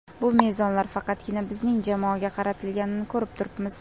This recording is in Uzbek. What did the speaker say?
Bu mezonlar faqatgina bizning jamoaga qaratilganini ko‘rib turibmiz.